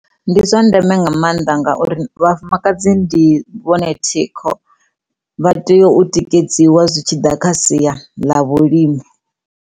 Ndi zwa ndeme nga mannḓa ngauri vhafumakadzi ndi vhone thikho vha tea u tikedziwa zwi tshi ḓa kha sia ḽa vhulimi.